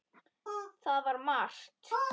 Það var margt.